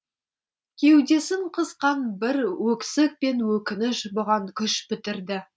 кеудесін қысқан бір өксік пен өкініш бұған күш бітірді